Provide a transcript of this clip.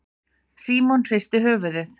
Símon hristi höfuðið.